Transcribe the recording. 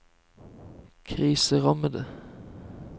kriserammede